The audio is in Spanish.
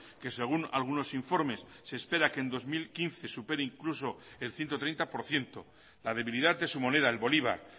que según algunos informes se espera que en dos mil quince supere incluso el ciento treinta por ciento la debilidad de su moneda el bolívar